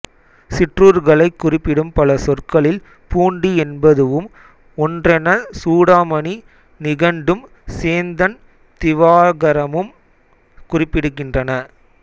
சிற்றூர்களைக் குறிப்பிடும் பல சொற்களில் பூண்டி என்பதுவும் ஒன்றெனச் சூடாமணி நிகண்டும் சேந்தன் திவாகரமும் குறிப்பிடுகின்றன